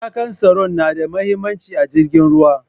matakan tsaro nada mahimmanci a jirgin ruwa